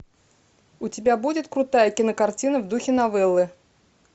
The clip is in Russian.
у тебя будет крутая кинокартина в духе новеллы